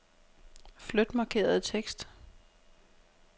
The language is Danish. Flyt markerede tekst.